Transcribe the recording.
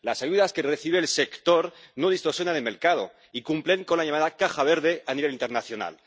Las ayudas que recibe el sector no distorsionan el mercado y cumplen con la llamada caja verde a nivel internacional.